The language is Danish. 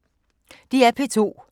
DR P2